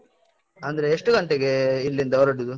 ಅಂದ್ರೆ, ಎಷ್ಟು ಗಂಟೆಗೇ ಇಲ್ಲಿಂದ ಹೊರ್ಡುದು?